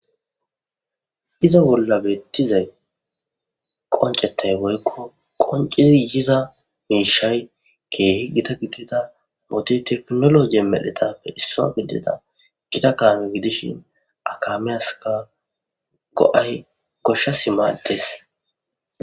Iza bolla bitixay qoncetay woyko qoncidi yiza mishay Keehi giya gidida wode tekinoloje medhetappe issa gidida Gita kaame gidishn , ha kaamiyaska go'ayi goshasi maades.